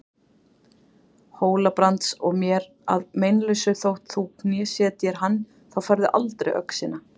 Hóla-Brands og mér að meinalausu þótt þú knésetjir hann, þá færðu aldrei öxina.